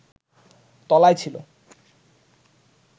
তলায় ছিল